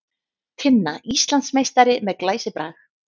Tinna Íslandsmeistari með glæsibrag